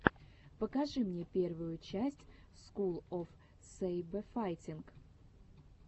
покажи мне первую часть скул оф сэйбэфайтинг